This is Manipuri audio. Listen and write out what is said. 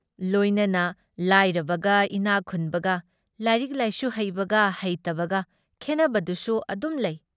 ꯂꯣꯏꯅꯅ ꯂꯥꯏꯔꯕꯒ ꯏꯅꯥꯛꯈꯨꯟꯕꯒ, ꯂꯥꯏꯔꯛ ꯂꯥꯏꯁꯨ ꯍꯩꯕꯒ‑ꯍꯩꯇꯕꯒ ꯈꯦꯟꯅꯕꯗꯨꯁꯨ ꯑꯗꯨꯝ ꯂꯩ ꯫